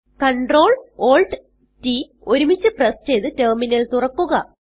Ctrl Alt T ഒരുമിച്ച് press ചെയ്ത് terminal തുറക്കുക